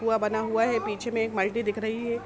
कुआँ बना हुआ है बीच मे एक मल्टी दिख रही है।